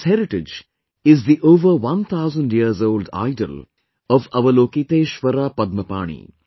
This heritage is the over one thousand years old idol of Avalokiteshvara Padmapani